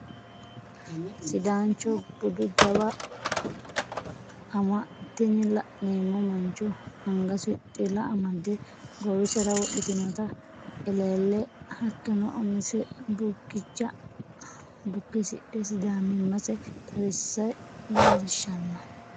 Sidaancho budu jawa ama, tini la'neemo mancho angase xilla amade goowisera wodhitinotta elleelle hatonno umise bukkicha bukkisidhe sidaamimase xawisse leelliishanno